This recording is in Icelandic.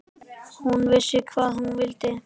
Hún vissi hvað hún vildi.